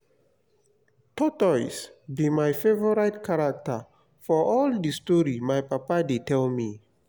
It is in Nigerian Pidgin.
tortoise be my favourite character for all the story my papa dey tell me